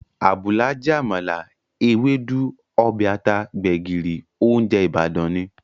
Àbùlà jẹ́ àmàlà, Ewédú, ọbẹ̀ ata, gbẹ̀gìrì, óúnjẹ Ìbàdàn ni